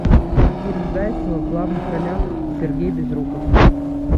фильм зайцева в главных ролях сергей безруков